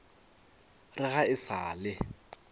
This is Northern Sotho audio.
re ga e sa le